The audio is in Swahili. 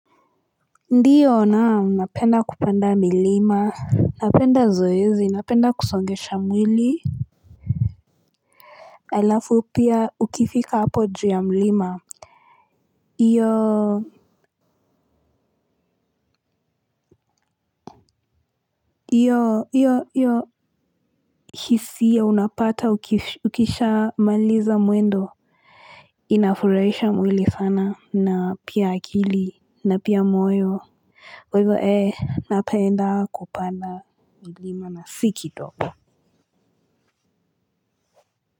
Ndiyo naam napenda kupanda milima napenda zoezi napenda kusongesha mwili alafu pia ukifika hapo juu ya mlima hiyo hiyo hiyo hiyo hisia unapata ukisha maliza mwendo inafurahisha mwili sana na pia akili na pia moyo kwa hivyo ee napenda kupanda milima na si kidogo.